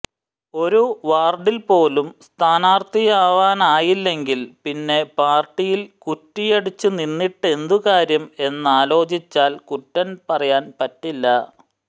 ഒരു വാർഡിൽപ്പോലും സ്ഥാനാർഥിയാവാനായില്ലെങ്കിൽ പിന്നെ പാർട്ടിയിൽ കുറ്റിയടിച്ചുനിന്നിട്ടെന്തു കാര്യം എന്നാലോചിച്ചാൽ കുറ്റം പറയാൻ പറ്റില്ല